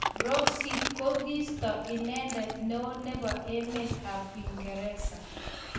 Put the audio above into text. Brexit kokiisto inendet neo nebo emet ab Uingereza.